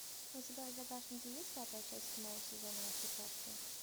у тебя в загашнике есть пятая часть седьмого сезона во все тяжкие